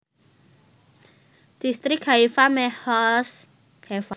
Dhistrik Haifa Mehoz Hefa